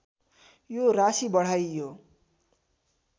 यो राशि बढाइयो